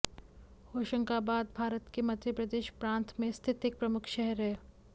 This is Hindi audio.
होशंगाबाद भारत के मध्य प्रदेश प्रान्त में स्थित एक प्रमुख शहर है